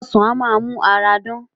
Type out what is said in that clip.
Ọsàn á máa mú ara dán